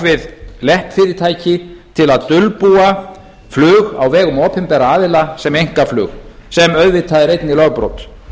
við leppfyrirtæki til að dulbúa flug á vegum opinberra aðila sem einkaflug sem auðvitað er einnig lögbrot